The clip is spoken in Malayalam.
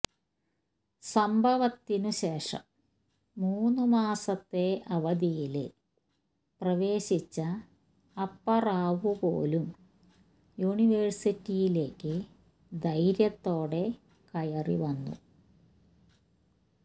സംഭവത്തിന് ശേഷം മൂന്ന് മാസത്തെ അവധിയില് പ്രവേശിച്ച അപ്പറാവു പോലും യൂണിവേഴ്സിറ്റിയിലേക്ക് ധൈര്യത്തോടെ കയറി വന്നു